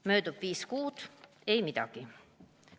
Möödub viis kuud – ei midagi.